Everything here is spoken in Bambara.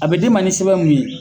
A bɛ d'i ma ni sɛbɛn mun ye